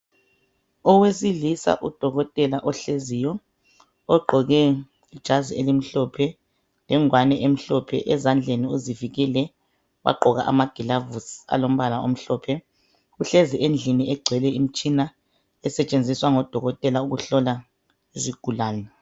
Owesilisa udokotela ohleziyo, ogqoke ijazi elimhlophe, lengwane emhlophe. Ezandleni uzivikele wagqoka amagilavuzi alombala omhlophe. Uhlezi endlini egcwele imtshina esetshenziswa ngodokotela ukuhlola izigulane.